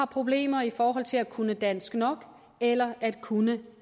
problemer i forhold til at kunne dansk nok eller at kunne